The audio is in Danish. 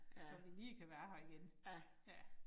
Så vi lige kan være her igen. Ja